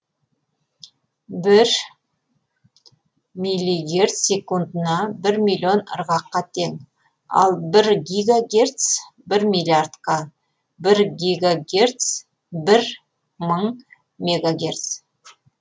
бір мили герц секундына бір миллион ырғаққа тең ал бір гиго герц бір миллиардқа бір гиго герц бір мың мегагерц